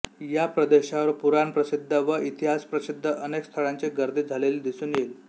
या प्रदेशावर पुराणप्रसिद्ध व इतिहासप्रसिद्ध अनेक स्थळांची गर्दी झालेली दिसून येईल